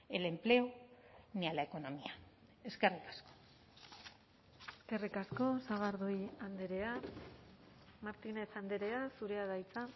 el empleo ni a la economía eskerrik asko eskerrik asko sagardui andrea martínez andrea zurea da hitza